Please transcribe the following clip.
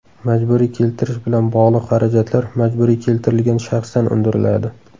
Majburiy keltirish bilan bog‘liq xarajatlar majburiy keltirilgan shaxsdan undiriladi.